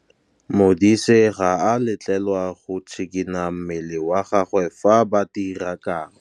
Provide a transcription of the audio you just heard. Modise ga a letlelelwa go tshikinya mmele wa gagwe fa ba dira karô.